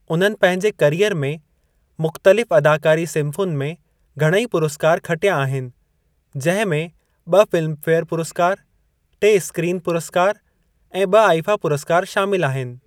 उन्हनि पंहिंजे करियर में मुख़्तलिफ़ अदाकारी सिन्फ़ुनि में घणेई पुरस्कार खटिया आहिनि, जिंहिं में ब॒ फिल्मफेयर पुरस्कार, टे स्क्रीन पुरस्कार ऐं ब॒ आईफा पुरस्कार शामिलु आहिनि।